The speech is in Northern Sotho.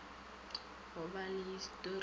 go ba le histori ya